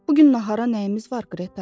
Bu gün nahara nəyimiz var, Qreta?